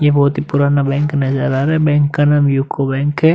ये बोहोत ही पुराना बैंक नजर आ रहा है। बैंक का नाम यूको बैंक है।